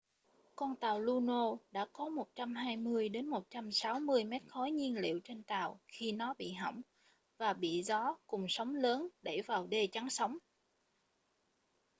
con tàu luno đã có 120 - 160 mét khối nhiên liệu trên tàu khi nó bị hỏng và bị gió cùng sóng lớn đẩy vào đê chắn sóng